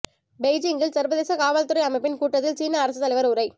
பெய்ஜிங்கில் சர்வதேச காவல் துறை அமைப்பின் கூட்டத்தில் சீன அரசுத் தலைவர் உரை